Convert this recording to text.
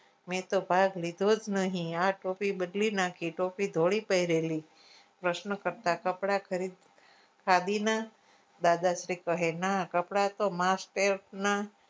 મેતો ભાગ લીધો જ નહિ આ ટોપી બદલી નાખી ટોપી ધોળી પહરેલી પ્રશ્ન કરતા કપડા ખાદીના દાદાશ્રી કહે ના કપડા master ના